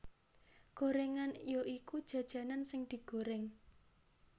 Gorengan ya iku jajanan sing digoreng